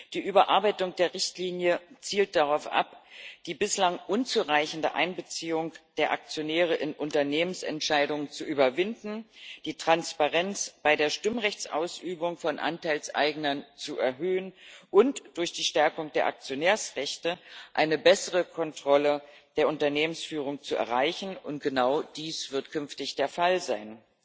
Die Überarbeitung der Richtlinie zielt darauf ab, die bislang unzureichende Einbeziehung der Aktionäre in Unternehmensentscheidungen zu überwinden, die Transparenz bei der Stimmrechtsausübung von Anteilseignern zu erhöhen und durch die Stärkung der Aktionärsrechte eine bessere Kontrolle der Unternehmensführung zu erreichen, und genau dies wird künftig der Fall sein.